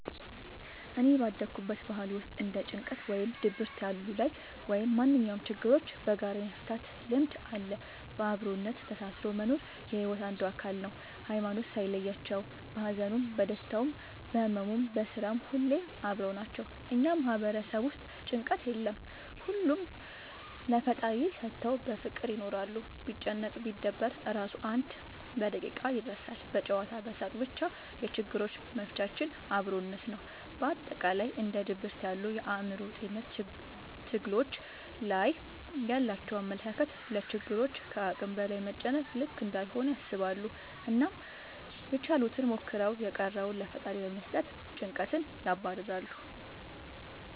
እኔ ባደኩበት ባህል ውስጥ እንደ ጭንቀት ወይም ድብርት ያሉ ላይ ወይም ማንኛውም ችግሮችን በጋራ የመፍታት ልምድ አለ። በአብሮነት ተሳስሮ መኖር የሒወት አንዱ አካል ነው። ሀይማኖት ሳይለያቸው በሀዘኑም በደስታውም በህመሙም በስራውም ሁሌም አብረው ናቸው። እኛ ማህበረሰብ ውስጥ ጭንቀት የለም ሁሉንም ለፈጣሪ ሰተው በፍቅር ይኖራሉ። ቢጨነቅ ቢደበር እራሱ አንድ በደቂቃ ይረሳል በጨዋታ በሳቅ በቻ የችግሮች መፍቻችን አብሮነት ነው። በአጠቃላይ እንደ ድብርት ያሉ የአእምሮ ጤንነት ትግሎች ላይ ያላቸው አመለካከት ለችግሮች ከአቅም በላይ መጨነቅ ልክ እንዳልሆነ ያስባሉ አናም ያችሉትን ሞክረው የቀረውን ለፈጣሪ በመስጠት ጨንቀትን ያባርራሉ።